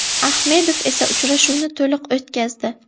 Ahmedov esa uchrashuvni to‘liq o‘tkazdi.